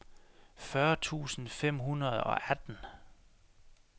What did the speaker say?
fyrre tusind fem hundrede og atten